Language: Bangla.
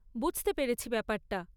বুঝতে পেরেছি ব্যাপারটা।